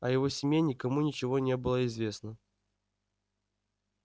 о его семье никому ничего не было известно